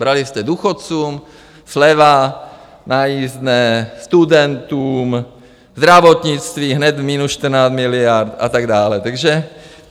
Brali jste důchodcům, sleva na jízdném, studentům, zdravotnictví - hned 14 miliard - a tak dále.